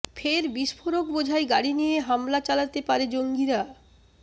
ফের বিস্ফোরক বোঝাই গাড়ি নিয়ে হামলা চালাতে পারে জঙ্গিরা